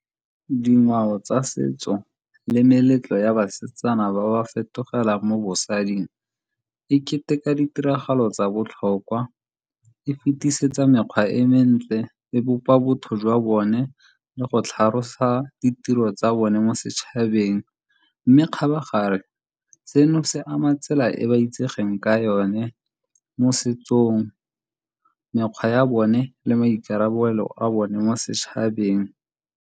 Dingwao tsa setso le meletlo ya basetsana ba ba fetogela mo bosading e keteka ditiragalo tsa botlhokwa, e fetisetsa mekgwa e mentle, e bopa botho jwa bone le go tlhalosa ditiro tsa bone mo setšhabeng. Mme kgabagare seno se ama tsela e ba itsegeng ka yone mo setsong, mekgwa ya bone le maikarabelo a bone mo setšhabeng.